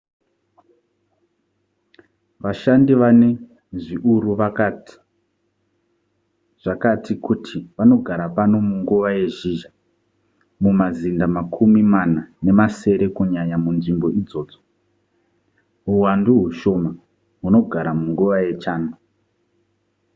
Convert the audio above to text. vashandi vane zviuru zvakati kuti vanogara pano munguva yezhizha mumazinda makumi mana nemasere kunyanya munzvimbo idzodzo huwandu hushoma hunogara munguva yechando